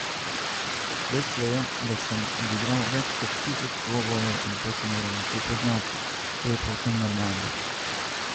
Dejstvo je, da sem odigral več kot tisoč dvobojev in to se mora nekje poznati, to je povsem normalno.